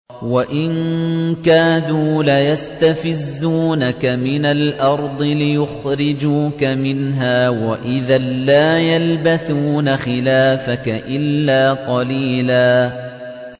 وَإِن كَادُوا لَيَسْتَفِزُّونَكَ مِنَ الْأَرْضِ لِيُخْرِجُوكَ مِنْهَا ۖ وَإِذًا لَّا يَلْبَثُونَ خِلَافَكَ إِلَّا قَلِيلًا